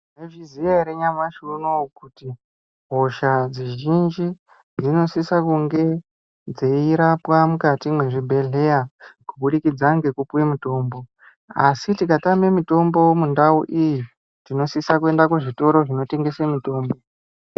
Munozviziya ere nyamashi uno kuti hosha zhinji dzinosisa kunge dzeirapwe mukati mezvibhedhlera kuburikidza ngekupiwe mitombo, asitikatame mitombo mundau iyi, tinosisa kuenda kuzvitoro zvinotengesa mitombo.